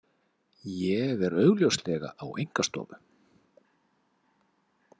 Ég er augljóslega á einkastofu.